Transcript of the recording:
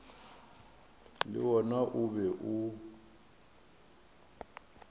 le wona o be o